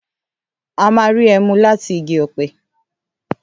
À mà rí ẹmú làtí ìgí ọpẹ.